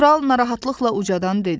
Kral narahatlıqla ucadan dedi.